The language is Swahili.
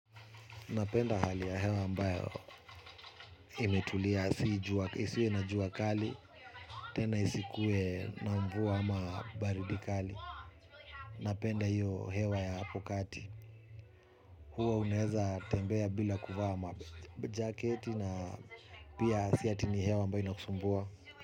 Napenda hali ya hewa ambayo imetulia, isiwe na jua kali, tena isikuwe na mvua ama baridi kali. Napenda hiyo hewa ya hapo kati, huwa unaeza tembea bila kuvaa majaketi na pia si ati ni hewa ambayo inakusumbua.